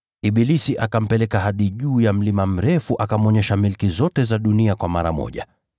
Ibilisi akampeleka hadi juu ya mlima mrefu akamwonyesha milki zote za dunia kwa mara moja.